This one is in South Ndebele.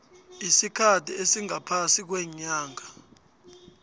isikhathi esingaphasi kweenyanga